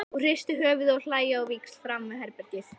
Og hrista höfuðið og hlæja á víxl framan við herbergið.